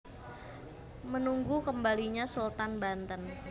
Menunggu Kembalinya Sultan Banten